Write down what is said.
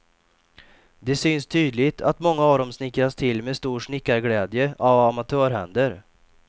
Det syns tydligt att många av dem snickrats till med stor snickarglädje av amatörhänder.